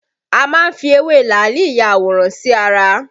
A má ń fi ewé làálì ya àwòrán sí ara